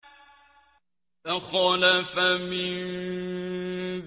۞ فَخَلَفَ مِن